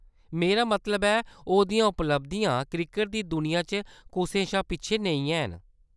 मेरा मतलब ऐ, ओह्‌दियां उपलब्धियां क्रिकट दी दुनिया च कुसै शा पिच्छें नेईं हैन।